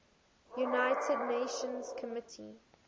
united nations committee